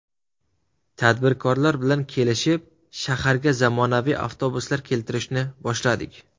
Tadbirkorlar bilan kelishib, shaharga zamonaviy avtobuslar keltirishni boshladik.